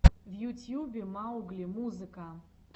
в ютьюбе маугли музыка